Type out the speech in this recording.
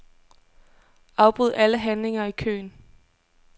Afbryd alle handlinger i køen.